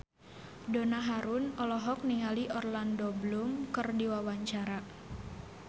Donna Harun olohok ningali Orlando Bloom keur diwawancara